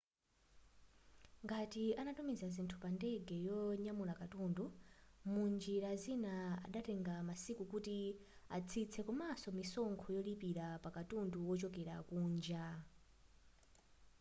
ngati anatumiza zinthu pa ndege yonyamula katundu munjira zina zikadatenga masiku kuti atsitse komanso misonkho yolipira pakatundu wochokera kunja